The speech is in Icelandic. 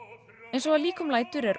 eins og að líkum lætur er